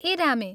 ए रामे!